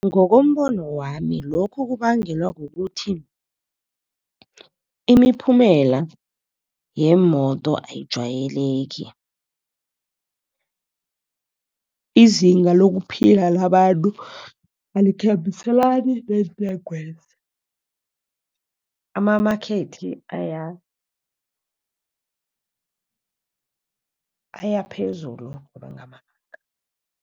Ngokombono wami lokhu kubangelwa kukuthi imiphumela yemoto ayijwayeleki. Izinga lokuphila labantu alikhambiselani neentengwezi. Amamakhethi aya, aya phezulu